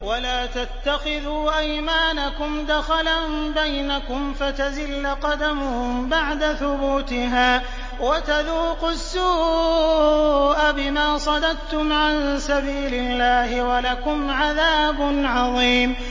وَلَا تَتَّخِذُوا أَيْمَانَكُمْ دَخَلًا بَيْنَكُمْ فَتَزِلَّ قَدَمٌ بَعْدَ ثُبُوتِهَا وَتَذُوقُوا السُّوءَ بِمَا صَدَدتُّمْ عَن سَبِيلِ اللَّهِ ۖ وَلَكُمْ عَذَابٌ عَظِيمٌ